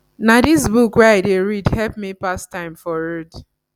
na dis book wey i dey read help me pass time for road